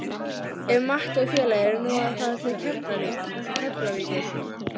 Ef Matti og félagar eru nú að fara til Keflavíkur!